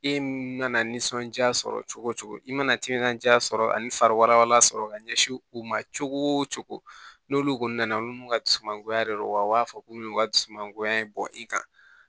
E mana nisɔndiya sɔrɔ cogo o cogo i mana timinandiya sɔrɔ ani fari wɛrɛ sɔrɔ ka ɲɛsin u ma cogo o cogo n'olu kɔni nana olu mun ka dusumangoya de don wa a b'a fɔ k'u y'u ka du suma goya bɔ i kan